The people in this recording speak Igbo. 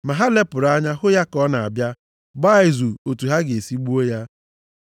Ma ha lepụrụ anya hụ ya ka ọ na-abịa, gbaa izu otu ha ga-esi gbuo ya.